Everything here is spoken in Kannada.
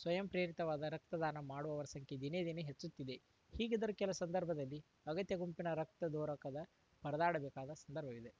ಸ್ವಯಂ ಪ್ರೇರಿತವಾದ ರಕ್ತದಾನ ಮಾಡುವವರ ಸಂಖ್ಯೆ ದಿನೇ ದಿನೇ ಹೆಚ್ಚುತ್ತಿದೆ ಹೀಗಿದ್ದರೂ ಕೆಲ ಸಂದರ್ಭದಲ್ಲಿ ಅಗತ್ಯ ಗುಂಪಿನ ರಕ್ತ ದೊರಕದ ಪರದಾಡಬೇಕಾದ ಸಂದರ್ಭವಿದು